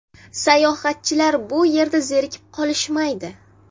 Sayohatchilar bu yerda zerikib qolishmaydi.